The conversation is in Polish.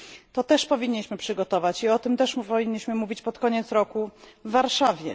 To też powinniśmy przygotować i o tym także powinniśmy mówić pod koniec roku w Warszawie.